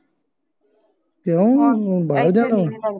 ਕੀਓ ਬਾਹਰ ਜਾਣਾ ਅਵ